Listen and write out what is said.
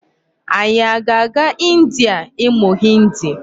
Anyị a ga-aga India ịmụ Hindi?